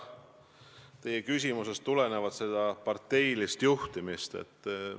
Te küsisite parteilise juhtimise kohta.